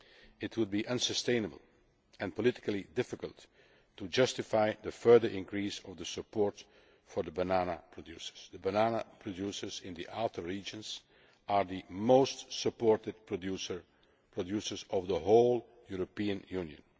It would be unsustainable and politically difficult to justify a further increase in the support for the banana producers. The banana producers in the outer regions are the most supported producers in the whole European